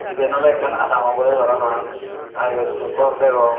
eben oley ekkan adam obodey parapang aa eyot mui gor degong.